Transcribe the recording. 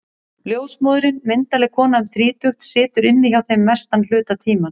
Ljósmóðirin, myndarleg kona um þrítugt, situr inni hjá þeim mestan hluta tímans.